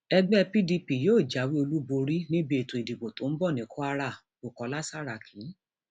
ẹgbẹ pdp yóò jáwé olúborí níbi ètò ìdìbò tó ń bọ ní kwara bukola saraki